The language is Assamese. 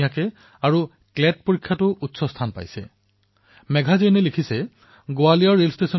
মেঘা জৈনে এইদৰে লিখিছে যে ৯২ বছৰীয়া এগৰাকী প্ৰৌঢ়া মহিলাই গোৱালিয়ৰ ৰেল ষ্টেচনত যাত্ৰীসকলক বিনামূলীয়াকৈ খোৱা পানী বিতৰণ কৰে